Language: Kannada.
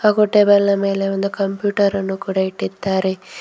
ಹಾಗು ಟೇಬಲ್ನ ಮೇಲೆ ಒಂದು ಕಂಪ್ಯೂಟರ್ ಅನ್ನು ಕೂಡ ಇಟ್ಟಿದ್ದಾರೆ.